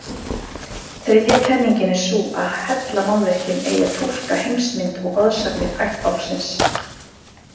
Þriðja kenningin er sú að hellamálverkin eigi að túlka heimsmynd og goðsagnir ættbálksins.